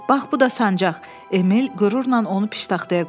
Bax bu da sancaq, Emil qürurla onu piştaxtaya qoydu.